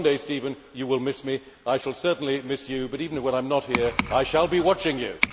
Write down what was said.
One day, Stephen, you will miss me and I shall certainly miss you, but even when I am not here I shall be watching you!